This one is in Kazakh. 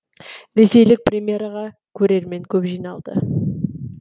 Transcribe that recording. ресейлік премьераға көрермен көп жиналды